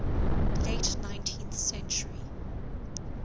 late nineteenth century